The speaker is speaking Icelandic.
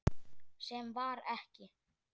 Sem var ekki.